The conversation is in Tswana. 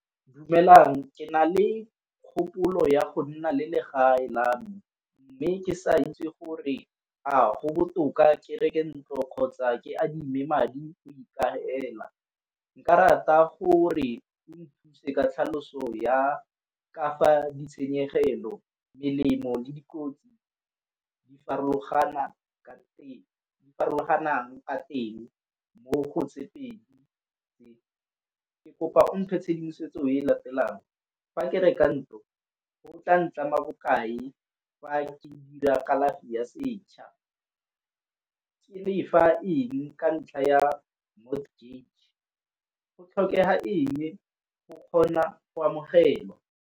Dumelang ke na le kgopolo ya go nna le le gae la me mme ke sa itse gore a go botoka ke reke ntlo kgotsa ke adimee madi go ikagela, nka rata gore o nthuse ka tlhaloso ya ka fa ditshenyegelo, melemo, le dikotsi di farologantshang a teng mo go tse pedi tse. Ke kopa mphe tshedimosetso e e latelang, fa ke reka ntlo o tla bokae fa ke dira kalafi ya setšha? Ke lefa eng ka ntlha ya mortgage go tlhokega eng go kgona go amogelwa.